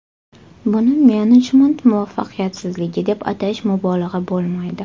Buni menejment muvaffaqiyatsizligi deb atash mubolag‘a bo‘lmaydi.